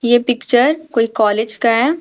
ये पिक्चर कोई कॉलेज का है।